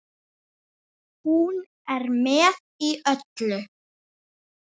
Hún er með í öllu